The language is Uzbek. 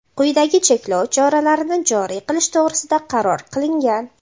quyidagi cheklov choralarini joriy qilish to‘g‘risida qaror qilingan:.